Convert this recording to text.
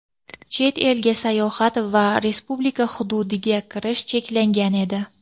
chet elga sayohat va Respublika hududiga kirish cheklangan edi.